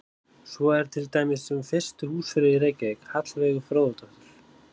Svo er til dæmis um fyrstu húsfreyju í Reykjavík, Hallveigu Fróðadóttur.